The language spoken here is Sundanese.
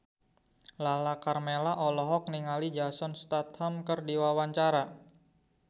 Lala Karmela olohok ningali Jason Statham keur diwawancara